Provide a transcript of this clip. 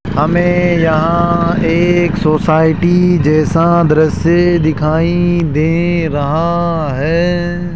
हमें यहां एक सोसाइटी जैसा दृश्य दिखाई दे रहा है।